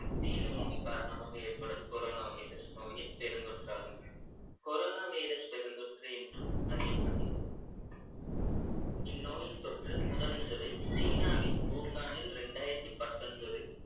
தீநுண்மி காரணமாக ஏற்படும் corona virus நோயின் பெருந்தொற்றாகும் corona virus பெருந்தொற்று என்றும் அறியப்படுகிறது இந்நோயின் தொற்று முதன்முதலில் சீனாவின் வூகானில் ரெண்டாயிரத்து பத்தொன்பது